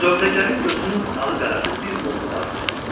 Sövdəgərin gözünün ağı-qarası bir oğlu vardı.